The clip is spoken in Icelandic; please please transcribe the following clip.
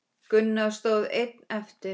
Gunnar stóð einn eftir.